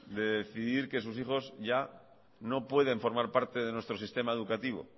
de decidir que sus hijos ya no pueden formar parte de nuestro sistema educativo